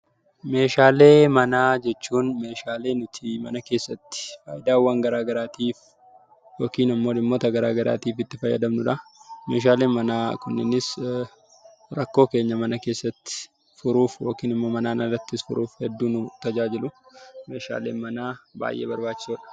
Meeshaalee manaa jechuun meeshaalee nuti mana keessatti faayidaawwan garaa garaatiif yookiin immoo dhimmoota garaa garaatiif itti fayyadamnuudha. Meeshaalee manaa Kunis rakkoo keenya mana keessatti furuuf akkasumas manaan alatti furuufis fayyadamnuudha. Meeshaaleen manaa baayyee barbaachisoodha.